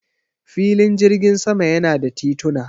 Filin jirgin sama yana da tituna.